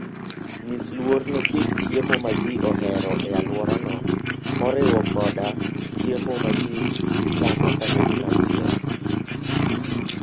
Nyis luor ne kit chiemo ma ji ohero e alworano, moriwo koda chiemo ma ji chiemo kanyachiel.